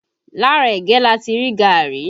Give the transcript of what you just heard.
Lára ẹ̀gẹ́ láti rí gaàrí